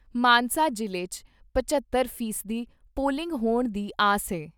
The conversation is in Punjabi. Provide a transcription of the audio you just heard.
ਮਾਨਸਾ ਜ਼ਿਲ੍ਹੇ 'ਚ ਪਝੱਤਰ ਫ਼ੀ ਸਦੀ ਪੋਲਿੰਗ ਹੋਣ ਦੀ ਆਸ ਏ।